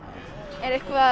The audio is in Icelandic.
er eitthvað